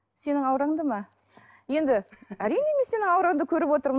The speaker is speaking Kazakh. сенің аураңды ма енді әрине мен сенің аураңды көріп отырмын